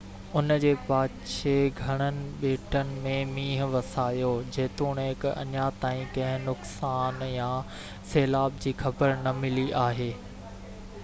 ان جي پاڇي گهڻن ٻيٽن م مينهن وسايو جيتوڻڪ اڃا تائين ڪنهن نقصان يا سيلاب جي خبر نہ ملي آهي